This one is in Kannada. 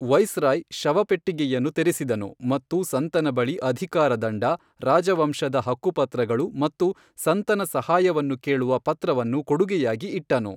ವೈಸ್ ರಾಯ್ ಶವಪೆಟ್ಟಿಗೆಯನ್ನು ತೆರೆಸಿದನು ಮತ್ತು ಸಂತನ ಬಳಿ ಅಧಿಕಾರ ದಂಡ, ರಾಜವಂಶದ ಹಕ್ಕುಪತ್ರಗಳು ಮತ್ತು ಸಂತನ ಸಹಾಯವನ್ನು ಕೇಳುವ ಪತ್ರವನ್ನು ಕೊಡುಗೆಯಾಗಿ ಇಟ್ಟನು.